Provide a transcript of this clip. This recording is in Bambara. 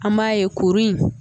An b'a ye kurun in